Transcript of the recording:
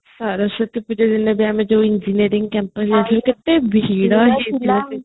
ସରସ୍ୱତୀ ପୂଜା ଦିନ ଆଉ ଯୋଉ engineering campus ଯାଇଥିଲୁ କାତେ ଭିଡ ହେଇଥିଲା